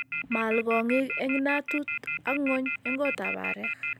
maal kong'ik en inatut ak ngwony en kotab areek.